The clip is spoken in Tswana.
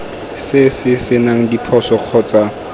se se senang diphoso kgotsa